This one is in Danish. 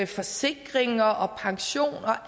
forsikringer og pension og